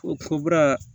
O ko bura